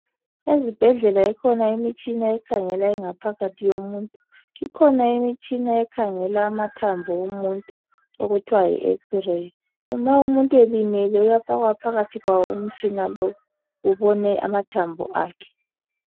Ezibhedlela ikhona imitshina ekhangela ingaphakathi yomuntu, ikhona imitshina ekhangela amathambo omuntu okuthwa yiX-ray ma umuntu elimele uyafakwa phakathi kwawo umtshina lowu ubone amathambo akhe.